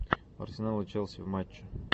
арсенал и челси в матче